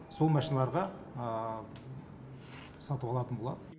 сол машиналарға сатып алатын болады